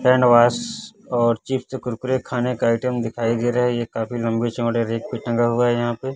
Handwash और chips Kurkure खाने का आइटम दिखाई दे रहा है ये काफी लंबे चौड़े रैक पे टंगा हुआ है यहां पे।